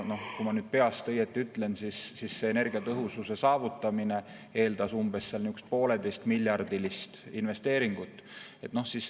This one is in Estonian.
Kui ma nüüd peast õigesti ütlen, siis energiatõhususe saavutamine eeldab 1,5-miljardilist investeeringut.